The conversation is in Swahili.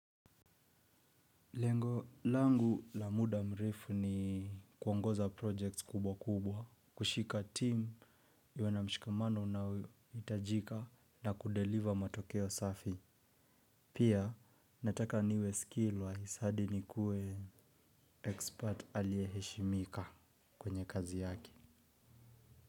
Lengo langu la muda mrefu ni kuongoza projects kubwa kubwa, kushika team ilio na mshikamano unaohitajika na kudeliver matokeo safi. Pia nataka niwe skill wise hadi nikuwe expert alieheshimika kwenye kazi yake.